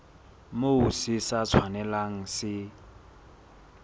moo se sa tshwanelang se